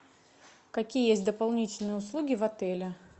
какие есть дополнительные услуги в отеле